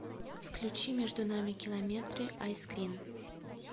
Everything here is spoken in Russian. включи между нами километры айскрин